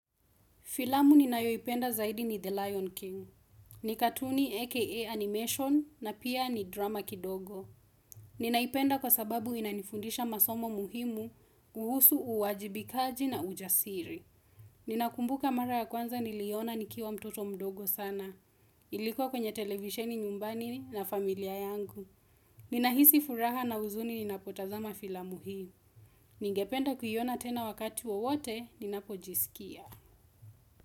Filamu ninayoipenda zaidi ni The Lion King. Ni katuni aka Animation na pia ni drama kidogo. Ninaipenda kwa sababu inanifundisha masomo muhimu, kuhusu, uwajibikaji na ujasiri. Ninakumbuka mara ya kwanza niliona nikiwa mtoto mdogo sana. Ilikuwa kwenye televisheni nyumbani na familia yangu. Ninahisi furaha na huzuni ninapotazama filamu hii. Ningependa kuiona tena wakati wowote ninapojisikia.